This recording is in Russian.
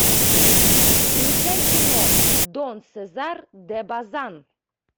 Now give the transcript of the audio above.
включай кино дон сезар де базан